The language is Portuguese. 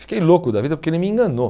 Fiquei louco da vida porque ele me enganou.